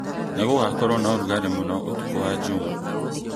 nĩ gũgakorũo na ũrugarĩ mũno ũtukũ wa Jumaa